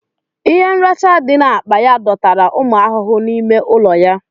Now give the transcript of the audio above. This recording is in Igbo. Ihe mracha dị n'akpa ya dọtara ụmụ ahụhụ n'ime ụlọ ya